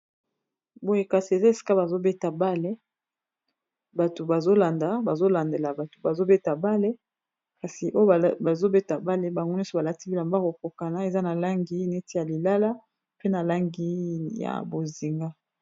Boye kasi eza eska bazobeta bale bato bazolandela bato bazobeta bale kasi oyo bazobeta bale bango nyonso balati bilomba kokokana eza na langi neti ya lilala pe na langi ya bozinga.